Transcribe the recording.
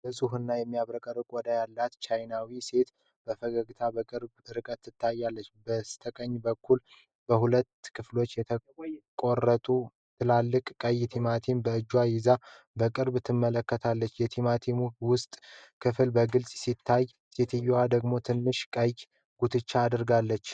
ንጹህ እና የሚያብረቀርቅ ቆዳ ያላት ቻይናዊት ሴት በፈገግታ በቅርብ ርቀት ትታያለች። በስተቀኝ በኩል በሁለት ከፍሎ የተቆረጠ ትልቅ ቀይ ቲማቲም በእጇ ይዛ በቅርበት ትመለከተዋለች። የቲማቲሙ የውስጥ ክፍል በግልጽ ጎልቶ ይታያል፣ ሴትየዋ ደግሞ ትንሽ ቀይ ጉትቻ አድርጋለች።